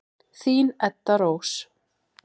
Þín, Edda Rós.